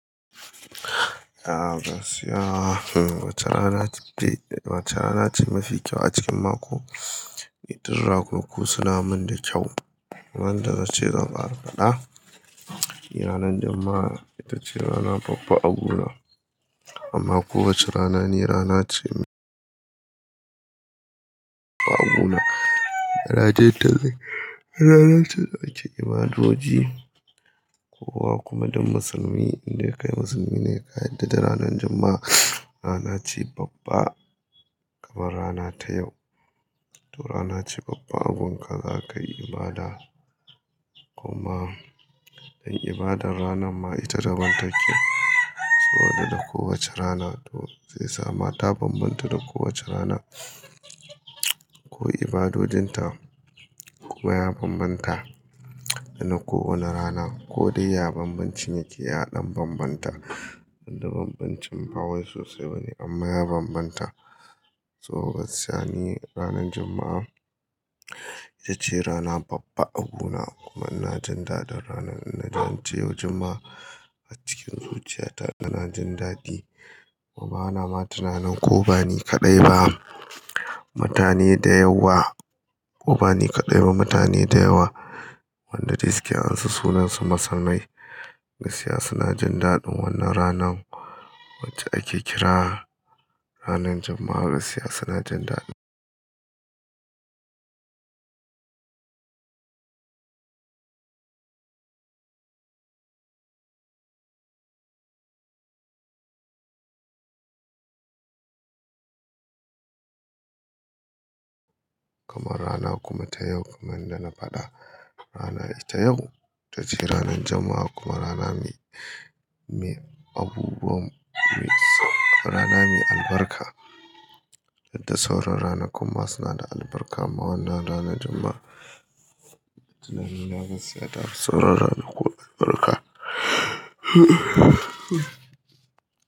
Ah gaskiya, wace rana ce mafi kyau a cikin mako? Duk ranaku suna min da kyau. Wanda nace zan ƙara faɗa. Ranar Juma'a ita ce rana babba a guna. Amma kowace rana ni rana ce a guna. Da na je talle, rana ce ake ibadoji. Kowa kuma duk musulmi, indai kai musulmi ne ka yarda da ranar Juma'a. Rana ce babba kamar rana ta yau. To rana ce babba a gunka za ka yi ibada. Kuma dan ibadan ranan ma ita ta daban take saboda da kowace rana to sai yasa ma ta banbanta da kowace rana. Ko ibadodinta kuma ya banbanta da na kowane rana. Ko dai ya banbancin yake ya dan banbanta. Wanda banbancin ba wai sosai bane amma ya banbanta. To gaskiya ni ranar Juma'a ita ce rana babba a guna kuma ina jin daɗin ranan. Ina ji ance yau Juma'a a cikin zuciyata ina jin daɗi. Wa ba na ma tunanin ko ba ni kaɗai ba. Mutane da yawa ko ba ni kaɗai ba mutane da yawa wanda dai suke an sa sunan su musulmai gaskiya suna jin daɗin wannan ranan wacce ake kira ranar Juma'a gaskiya suna jin daɗi. Kamar rana kuma ta yau kuma inda na faɗa rana ita yau ita ce ranar Juma'a kuma rana mai, mai abubuwan, rana mai albarka. Yadda sauran rana kuma suna da albarka amma wannan ranar Juma'a tunani na gaskiya ta fi sauran rana ko albarka.